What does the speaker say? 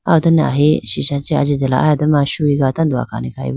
aw done ahi sisha chi ajitela aye doma chuyi ga tando akhane khayibo.